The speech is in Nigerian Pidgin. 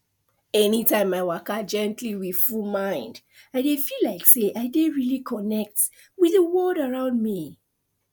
anytime i waka gently with full mind i dey feel like say i dey really connect with the world around me